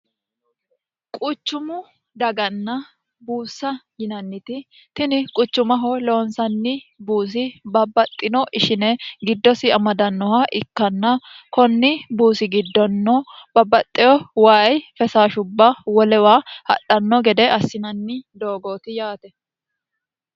quchumu daganna buussa yinanniti tini quchumaho loonsanni buusi babbaxxino ishine giddosi amadannoha ikkanna konni buusi giddonno babbaxxeho wayi fesaashubba wolewa hadhanno gede assinanni doogooti yaate